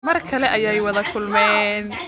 Mar kale ayay wada kulmeen